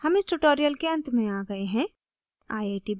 हम इस tutorial के अंत में आ गए हैं